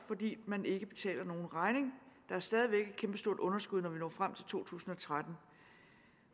fordi man ikke betaler nogen regning der er stadig væk et kæmpestort underskud når vi når frem til to tusind og tretten